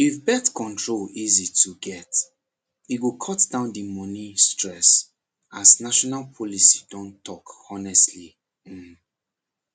if birth control easy to get e go cut down the money stress as national policy don talk honestly um